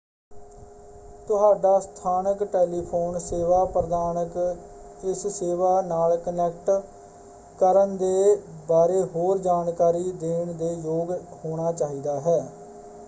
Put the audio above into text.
ਤੁਹਾਡਾ ਸਥਾਨਕ ਟੈਲੀਫ਼ੋਨ ਸੇਵਾ ਪ੍ਰਦਾਨਕ ਇਸ ਸੇਵਾ ਨਾਲ ਕਨੈਕਟ ਕਰਨ ਦੇ ਬਾਰੇ ਹੋਰ ਜਾਣਕਾਰੀ ਦੇਣ ਦੇ ਯੋਗ ਹੋਣਾ ਚਾਹੀਦਾ ਹੈ।